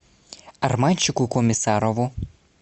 арманчику комиссарову